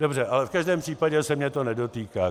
Dobře, ale v každém případě se mě to nedotýká.